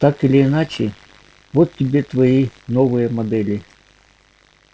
так или иначе вот тебе твои новые модели